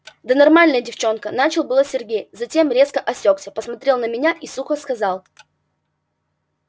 да нормальная девчонка начал было сергей затем резко осёкся посмотрел на меня и сухо сказал